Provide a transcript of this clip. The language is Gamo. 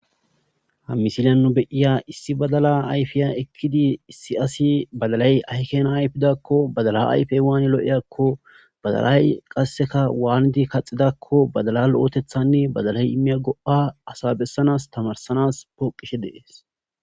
ha misilyannu beyiya issi badala ayfiya ekkidi issi asi badalay ahkena ayfidakko badala ayfey waani lo'eyakko badalay qasseka waanidi kaxidakko badala lo'ootethanni badalay imiya go'a asa bessanas tamarsanas pooqishe de'ees